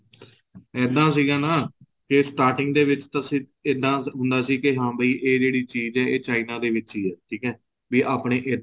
ਇੱਦਾਂ ਸੀਗਾ ਨਾ ਕੇ starting ਦੇ ਵਿੱਚ ਇੱਦਾਂ ਹੁੰਦਾ ਸੀ ਕੀ ਹਾਂ ਵੀ ਏ ਜਿਹੜੀ ਚੀਜ ਏ ਏ china ਦੇ ਵਿੱਚ ਹੀ ਹੈ ਠੀਕ ਏ ਵੀ ਆਪਣੇ ਇੱਧਰ